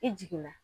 I jiginna